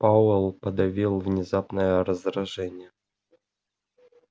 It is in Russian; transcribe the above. пауэлл подавил внезапное раздражение